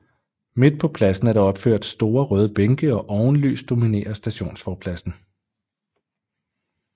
Midt på pladsen er der opført store røde bænke og ovenlys dominerer stationsforpladsen